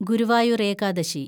Guruvayur‍ Ekadashi